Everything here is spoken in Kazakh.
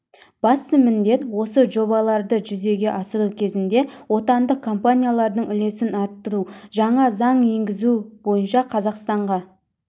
басты міндет осы жобаларды жүзеге асыру кезінде отандық компаниялардың үлесін арттыру жаңа заң ережесі бойынша қазақстанға